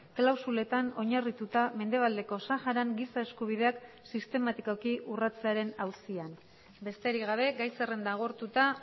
klausuletan oinarrituta mendebaldeko saharan giza eskubideak sistematikoki urratzearen auzian besterik gabe gai zerrenda agortuta